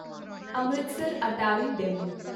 Amritsar Attari DEMU